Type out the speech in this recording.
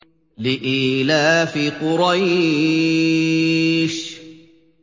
لِإِيلَافِ قُرَيْشٍ